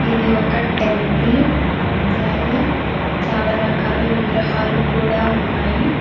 ఇవి ఒక టెంపుల్ అలాగే చాలా రకాల విగ్రహాలు కూడా ఉన్నాయి.